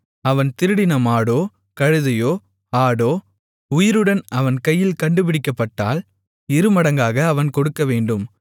அவன் திருடின மாடோ கழுதையோ ஆடோ உயிருடன் அவன் கையில் கண்டுபிடிக்கப்பட்டால் இருமடங்காக அவன் கொடுக்கவேண்டும்